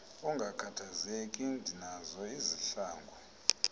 ungakhathazeki ndinazo izihlangu